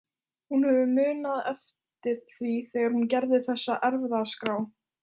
Hún hefur munað eftir því þegar hún gerði þessa erfðaskrá.